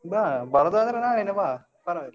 ಬಾ ಬರುದಾದ್ರೆ ನಾಳೇನೆ ಬಾ, ಪರ್ವಾಗಿಲ್ಲ.